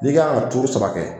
N'i kan ka turu saba kɛ